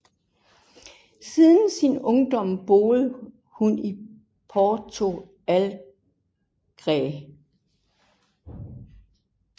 Siden sin ungdom boede hun i Porto Alegre